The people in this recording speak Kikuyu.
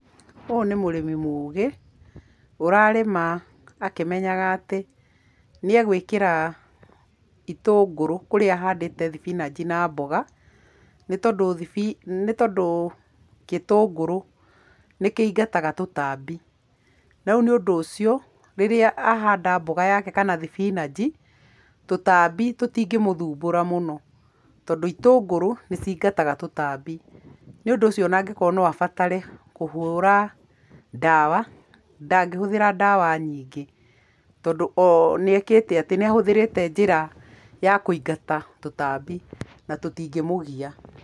Ũyũ nĩ mũrĩmi mũũgĩ, ũrarĩma akĩmenyaga atĩ nĩegwĩkĩra itũngũrũ kũrĩa ahandĩte thibinanji na mboga, nĩ tondũ gĩtũngũrũ nĩ kĩingataga tũtambi. Na rĩu nĩũndũ ũcio, rĩrĩa ahanda mboga yake kana thibinanji, tũtambi tũtingĩmũthũmbũra mũno tondũ itũngũrũ nĩciingataga tũtambi. Nĩũndũ ũcio ona angĩkorwo no abatare kũhũra ndawa, ndangĩhũthĩra ndawa nyingĩ tondũ o nĩekĩte atĩ, nĩahũthirĩte njĩra ya kũingata tũtambi na tũtingĩmũgia.